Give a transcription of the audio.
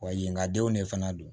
Wa yen ka denw de fana don